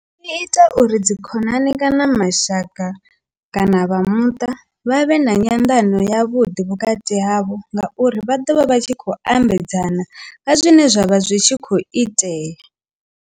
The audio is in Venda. Zwi ita uri dzikhonani kana mashaka kana vha muṱa vha vhe na nyanḓano yavhuḓi vhukati havho ngauri vha ḓovha vha tshi khou ambedzana nga zwine zwavha zwi tshi khou itea.